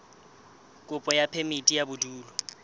kopo ya phemiti ya bodulo